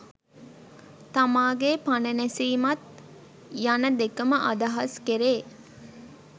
තමාගේ පණ නැසීමත් යන දෙකම අදහස් කෙරේ.